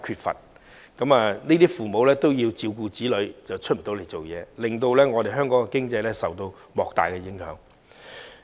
如果在職父母因要照顧子女而無法外出工作，香港經濟將受到莫大影響。